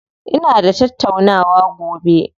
Ina da tattaunawa gobe.